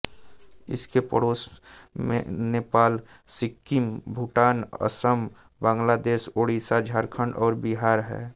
इसके पड़ोस में नेपाल सिक्किम भूटान असम बांग्लादेश ओडिशा झारखण्ड और बिहार हैं